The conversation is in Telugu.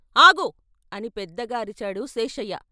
"ఆగు" అని పెద్దగా అరిచాడు శేషయ్య.